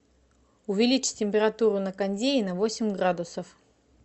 увеличить температуру на кондее на восемь градусов